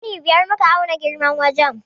Ɗani biyar muka auna girman wajen.